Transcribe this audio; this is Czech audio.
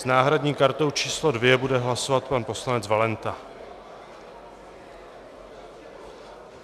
S náhradní kartou číslo 2 bude hlasovat pan poslanec Valenta.